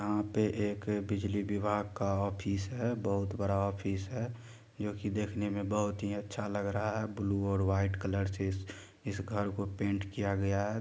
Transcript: यहाँ पे एक बिजली विभाग का ऑफिस है बहुत बड़ा ऑफिस है जो कि देखने में बहुत ही अच्छा लग रहा है ब्लू और वाइट कलर से इस-इस घर को पेंट किया गया है।